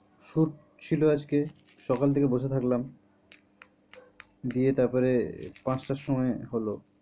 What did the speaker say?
Shoot ছিল আজকে সকাল থেকে বসে থাকলাম দিয়ে তারপরে পাঁচটার সময় হলো।